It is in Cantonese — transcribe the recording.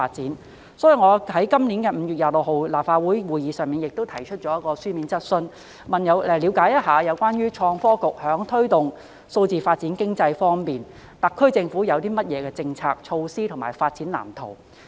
因此，我在今年5月26日的立法會會議上提出一項書面質詢，了解有關創新及科技局在推動數字經濟發展方面，特區政府會有何政策、措施和發展藍圖。